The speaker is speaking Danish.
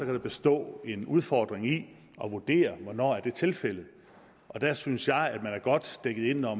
kan bestå en udfordring i at vurdere hvornår det er tilfældet der synes jeg at vi er godt dækket ind når